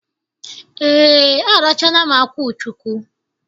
Ee, arachaala m akwuchụkwu.